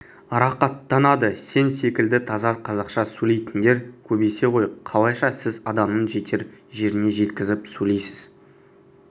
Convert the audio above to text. рақаттанады сен секілді таза қазақша сөйлейтіндер көбейсе ғой қалайша сіз адамның жетер жеріне жеткізіп сөйлейсіз